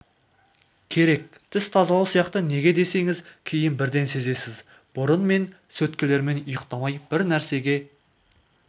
керек тіс тазалау сияқты неге десеңіз кейін бірден сезесіз бұрын мен сөткелермен ұйықтамай бір нәрсеге